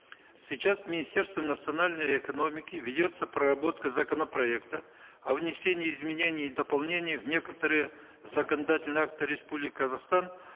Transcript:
сейчас в министерстве национальной экономики ведется проработка законопроекта о внесении изменений и дополнений в некоторые законодательные акты республики казахстан